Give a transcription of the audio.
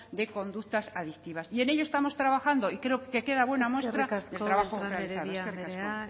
de conductas adictivas y en ello estamos trabajando y creo que queda buena muestra del trabajo realizado eskerrik asko